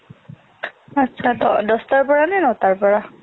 আচ্ছা দহটাৰ পৰা নে নটাৰ পৰা